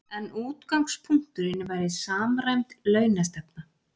En útgangspunkturinn væri samræmd launastefna